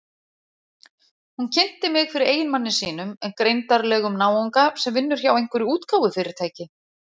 Hún kynnti mig fyrir eiginmanni sínum, greindarlegum náunga sem vinnur hjá einhverju útgáfufyrirtæki.